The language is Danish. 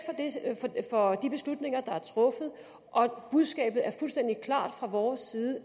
for de beslutninger der er truffet og budskabet er fuldstændig klart fra vores side